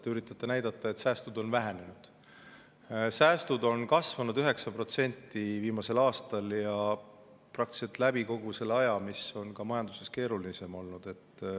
Te üritate näidata, et säästud on vähenenud, aga säästud on kasvanud viimasel aastal 9% ja praktiliselt kogu selle aja jooksul, kui on majanduses keerulisem olnud.